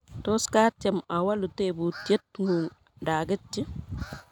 Tos katyem awolu tebutyet ng'ung' nda aketyi?